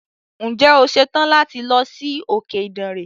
Ǹje o ṣetàn láti lọ sí òkè Ìdànre.